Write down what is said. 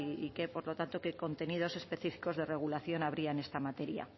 y por lo tanto qué contenidos específicos de regulación habría en esta materia